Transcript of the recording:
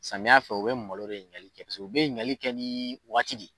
Samiya fɛ u bɛ malo de ɲinigaali kɛ kosɛbɛ , u bɛ ɲinigali kɛ ni waati.